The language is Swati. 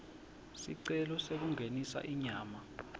sicelo sekungenisa inyama